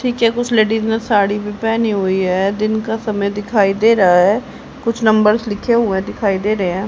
पीछे कुछ लेडीज ने साड़ी भी पहनी हुई है दिन का समय दिखाई दे रहा है कुछ नंबर्स लिखे हुए दिखाई दे रहे हैं।